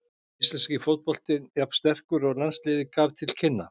Er íslenski fótboltinn jafn sterkur og landsliðið gaf til kynna?